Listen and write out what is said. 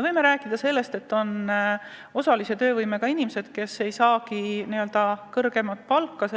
Meil on osalise töövõimega inimesi, kes ei saa kõrgemat palka